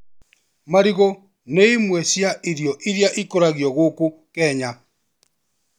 Marigũ nĩ imwe cia irio iria ikũragio gũkũ Kenya.